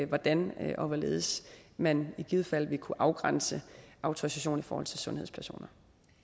hvordan og hvorledes man i givet fald vil kunne afgrænse autorisation i forhold til sundhedspersoner